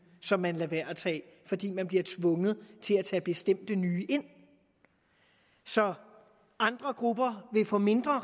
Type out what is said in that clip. som man lader være at tage ind fordi man bliver tvunget til at tage bestemte nye ind så andre grupper vil få mindre